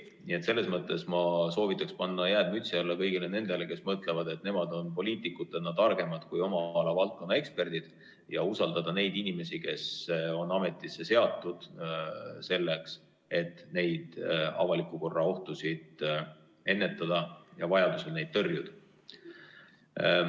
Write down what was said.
Nii et ma soovitaks panna jääd mütsi alla kõigil nendel, kes mõtlevad, et nemad on poliitikutena targemad kui valdkonna eksperdid, ja usaldada neid inimesi, kes on ametisse seatud selleks, et avaliku korra ohtusid ennetada ja vajaduse korral neid tõrjuda.